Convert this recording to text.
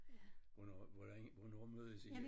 Hvornår hvordan hvornår mødes i?